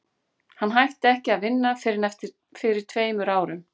hann hætti ekki að vinna fyrr en fyrir tveim árum